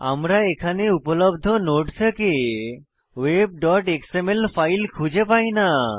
আমরা এখানে উপলব্ধ নোড থেকে webএক্সএমএল ফাইল খুঁজে পাই না